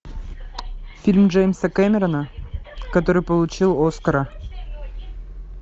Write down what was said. фильм джеймса кэмерона который получил оскара